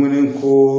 ko